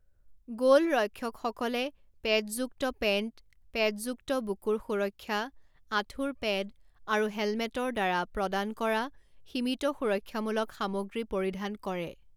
গ'লৰক্ষকসকলে পেডযুক্ত পেণ্ট, পেডযুক্ত বুকুৰ সুৰক্ষা, আঁঠুৰ পেড আৰু হেলমেটৰ দ্বাৰা প্ৰদান কৰা সীমিত সুৰক্ষামূলক সামগ্ৰী পৰিধান কৰে।